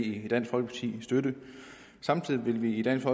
i dansk folkeparti støtte samtidig vil vi i dansk